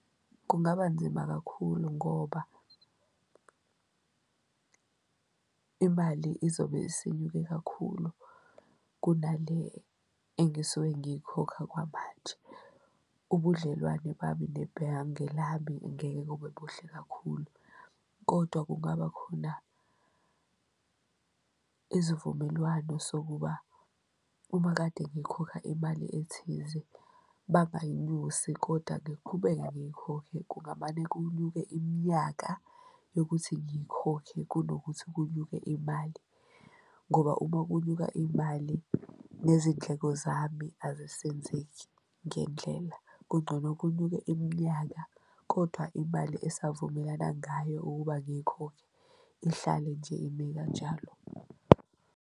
Kungaba nzima kakhulu ngoba imali izobe isinyuke kakhulu kunale engisuke ngiyikhokha kwamanje. Ubudlelwane bami nebhange lami ngeke kube buhle kakhulu, kodwa kungaba khona izivumelwano sokuba uma kade ngikhokha imali ethize bangayinyusi kodwa ngiqhubeke ngiyikhokhe. Kungamane kunyuke iminyaka yokuthi ngikhokhe kunokuthi kunyuke imali ngoba uma kunyuka imali nezindleko zami azisenzeki ngendlela, kungcono kunyuke iminyaka kodwa imali esavumelana ngayo ukuba ngiyikhokhe ihlale nje ime kanjalo.